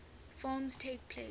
forms takes place